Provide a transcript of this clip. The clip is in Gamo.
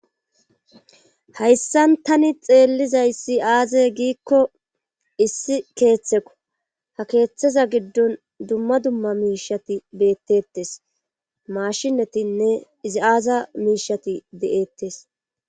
hayssan tani xeellizaysi aaze giikko issi keeththeko ha keeththeza giddon dumma dumma miishati beettettes maashinatinne izi aaza miishati de7eettes